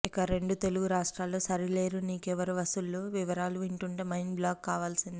ఇక రెండు తెలుగు రాష్ట్రాలలో సరిలేరు నీకెవ్వరు వసూళ్ల వివరాలు వింటుంటే మైండ్ బ్లాక్ కావలసిందే